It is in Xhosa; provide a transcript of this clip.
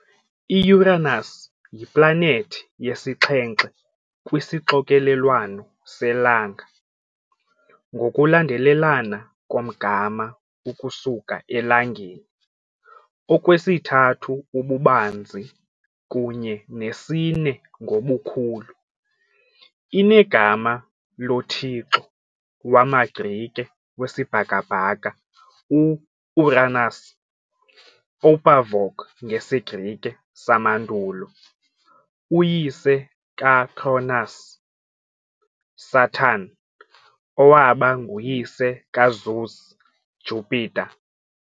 I-Uranus yiplanethi yesixhenxe kwisixokelelwano selanga ngokulandelelana komgama ukusuka eLangeni, okwesithathu ububanzi kunye nesine ngobukhulu. Inegama lothixo wamaGrike wesibhakabhaka u-Uranus Οὐρανός ngesiGrike samandulo, uyise kaCronus Saturn, owaba nguyise kaZeus Jupiter.